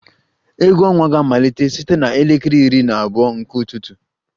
Egwu ọnwa ga-amalite site na elekere iri na abụọ nke ụtụtụ